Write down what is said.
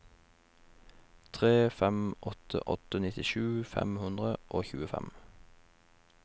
tre fem åtte åtte nittisju fem hundre og tjuefem